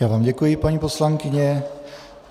Já vám děkuji, paní poslankyně.